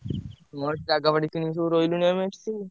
ମୋର ଜାଗାବାଡି କିଣିକି ସବୁ ରହିଲୁଣି ଆମେ ଏଠି ସବୁ।